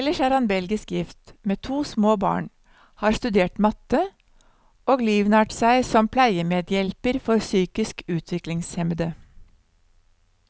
Ellers er han belgisk gift, med to små barn, har studert matte, og livnært seg som pleiemedhjelper for psykisk utviklingshemmede.